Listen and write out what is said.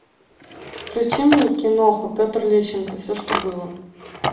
включи мне киноху петр лещенко все что было